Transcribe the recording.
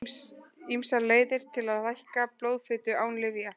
Ýmsar leiðir eru til að lækka blóðfitu án lyfja.